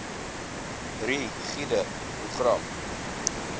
ri gude programme